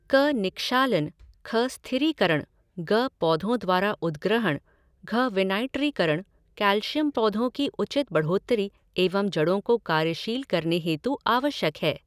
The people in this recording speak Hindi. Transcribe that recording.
क निक्षालन ख स्थिरीकरण ग पौधों द्वारा उद्ग्रहण घ विनाइट्रीकरण कैलशियम पौधों की उचित बढ़ोत्तरी एवं जड़ों को कार्यशील करने हेतु आवश्यक है।